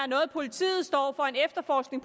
noget politiet står for en efterforskning